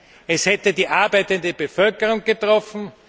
Nein, es hätte die arbeitende Bevölkerung getroffen.